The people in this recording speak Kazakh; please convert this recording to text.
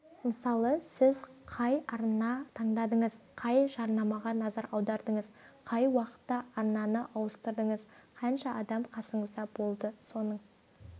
мысалы сіз қай арнаны таңдадыңыз қай жарнамаға назар аудардыңыз қай уақытта арнаны ауыстырдыңыз қанша адам қасыңызда болды соның